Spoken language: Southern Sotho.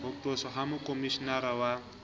ho qoswa ha mokhomishenara wa